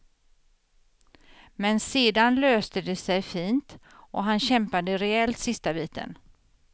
Men sedan löste det sig fint och han kämpade rejält sista biten.